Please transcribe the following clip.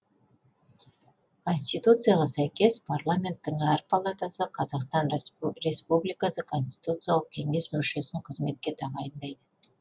конституцияға сәйкес парламенттің әр палатасы қазақстан республикасы конституциялық кеңес мүшесін қызметке тағайындайды